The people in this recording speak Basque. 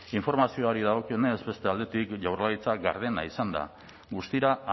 informazioaari dagokionez beste aldetik jaurlaritza gardena izan da guztira